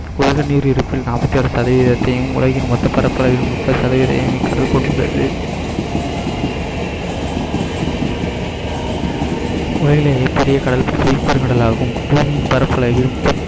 நீர் இருப்பு நாற்பத்தி ஆறு சதவீதத்தையும் உலகின் மொத்த பரப்பளவில் முப்பது சதவீதயும் கடல் கொண்டுள்ளது உலகிலேயே பெரிய கடல் பெருங்கடலாகும் பூமியின் பரப்பளவிலும்